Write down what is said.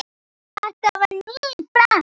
Þetta var nýr frakki.